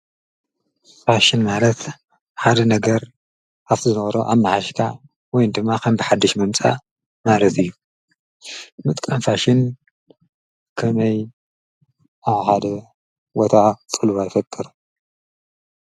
ፋሽን ማለት ሓደ ነገር ካብቲ ዝነበሮ አማሓይሽካ ወይ ድማ ከም ብሓዱሽ ምምፃእ ማለት እዩ። ምጥቃም ፋሽን ከመይ አብ ሓደ ቦታ ፅልዋ ይፈጥር?